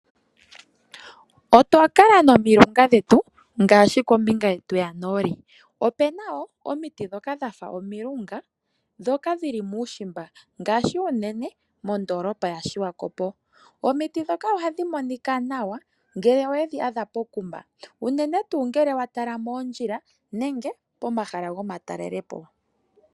Otwa kala nomiloka dhetu ngaashi kombinga yetu yanooli. Opena wo omiiti dhoka dhafa omilunga dhoka dhili muushimba ngaashi unene mondolopa yaSwakop. Omiiti dhoka ohadhi monika nawa ngele owedhi adha pokuma. Unene tu ngele wa tala moondjila nenge pomahala goma talelepo.